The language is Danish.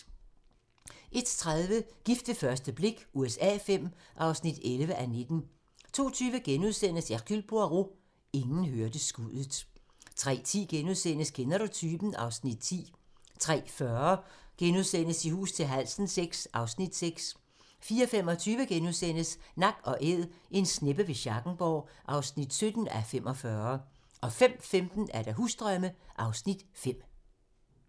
01:30: Gift ved første blik USA V (11:19) 02:20: Hercule Poirot: Ingen hørte skuddet * 03:10: Kender du typen? (Afs. 10)* 03:40: I hus til halsen VI (Afs. 6)* 04:25: Nak & Æd - en sneppe ved Schackenborg (17:45)* 05:15: Husdrømme (Afs. 5)